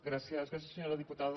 gràcies senyora diputada